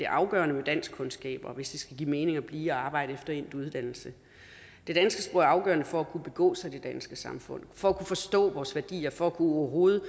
afgørende med danskkundskaber hvis det skal give mening at blive og arbejde efter endt uddannelse det danske sprog er afgørende for at kunne begå sig i det danske samfund for at kunne forstå vores værdier og for overhovedet